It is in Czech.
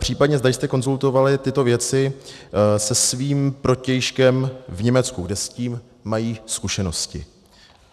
Případně zda jste konzultovali tyto věci se svým protějškem v Německu, kde s tím mají zkušenosti.